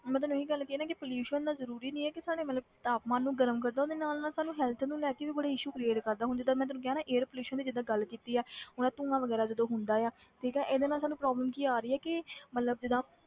ਮੈਂ ਤੈਨੂੰ ਇਹੀ ਗੱਲ ਕਹੀ ਨਾ ਕਿ pollution ਇੰਨਾ ਜ਼ਰੂਰੀ ਨਹੀਂ ਹੈ ਕਿ ਸਾਡੇ ਮਤਲਬ ਤਾਪਮਾਨ ਨੂੰ ਗਰਮ ਕਰਦਾ ਉਹਦੇ ਨਾਲ ਨਾਲ ਸਾਨੂੰ health ਨੂੰ ਲੈ ਕੇ ਵੀ ਬੜੇ issue create ਕਰਦਾ, ਹੁਣ ਜਿੱਦਾਂ ਮੈਂ ਤੈਨੂੰ ਕਿਹਾ ਨਾ air pollution ਦੀ ਜਿੱਦਾਂ ਗੱਲ ਕੀਤੀ ਆ ਹੁਣ ਆਹ ਧੂੰਆ ਵਗ਼ੈਰਾ ਜਦੋਂ ਹੁੰਦਾ ਆ ਠੀਕ ਹੈ ਇਹਦੇ ਨਾਲ ਸਾਨੂੰ problem ਕੀ ਆ ਰਹੀ ਆ ਕਿ ਮਤਲਬ ਜਿੱਦਾਂ,